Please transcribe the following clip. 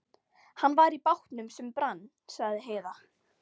Hann var í bátnum sem brann, sagði Heiða.